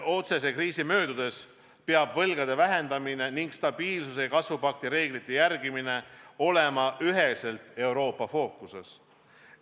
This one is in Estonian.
Otsese kriisi möödudes peab võlgade vähendamine ning stabiilsuse ja kasvu pakti reeglite järgmine olema üheselt Euroopa fookuses.